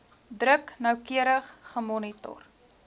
druk noukeurig gemonitor